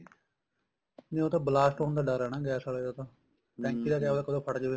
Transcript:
ਨਹੀਂ ਉਹ ਤਾਂ blast ਹੋਣ ਦਾ ਡਰ ਹੈ ਨਾ ਗੈਸ ਆਲੇ ਦਾ ਤਾਂ ਟੈਂਕੀਦਾ ਕੀ ਪਤਾ ਕਦੋਂ ਫਟ ਜਾਵੇ